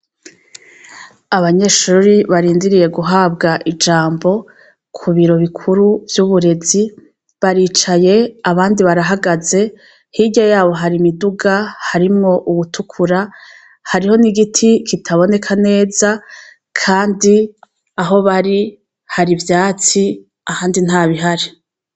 Abanyeshure barindiriye guhabwa ijambo ku biro bikuru vy'uburezi, baricaye abandi barahagaze, hirya yabo hari imiduga harimwo uwutukura, hariho n'igiti kitaboneka neza, kandi aho bari hari ivyatsi ahandi ntabihari.